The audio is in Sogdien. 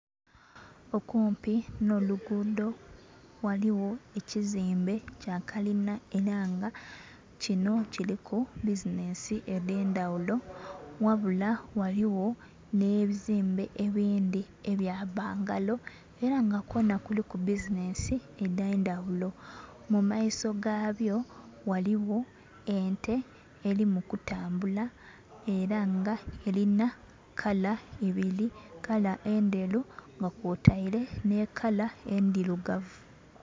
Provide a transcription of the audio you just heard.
Okumpi nh'oluguudho ghaligho ekizimbe kya kalina ela nga kinho kiliku bizinensi edh'endhaghulo, ghabula ghaligho nhe bizimbe ebindhi ebya bangalo ela nga kwonha kuliku bizinensi edh'endhaghulo. Mu maiso gabyo ghaligho ente eli mu kutambula era nga elinha kala ibili, kala endheru nga kwotaile nhi kala endhilugavu.